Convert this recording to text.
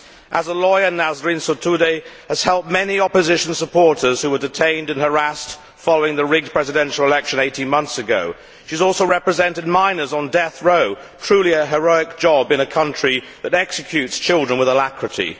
As a lawyer, Nasrin Sotoudeh has helped many opposition supporters who were detained and harassed following the rigged presidential election 18 months ago. She has also represented minors on death row, truly a heroic job in a country that executes children with alacrity.